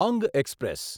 અંગ એક્સપ્રેસ